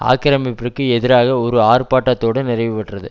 ஆக்கிரமிப்பிற்கு எதிராக ஒரு ஆர்பாட்டத்தோடு நிறைவுபெற்றது